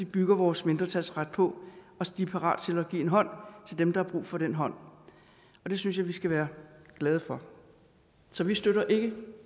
bygger vores mindretalsret på så de er parate til at give en hånd til dem der har brug for den hånd det synes jeg vi skal være glade for så vi støtter ikke